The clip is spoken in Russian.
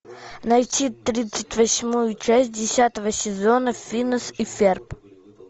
найти тридцать восьмую часть десятого сезона финес и ферб